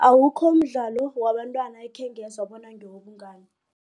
Awukho mdlalo wabantwana ekhengezwa bona ngewobungani.